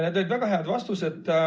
Need olid väga head vastused.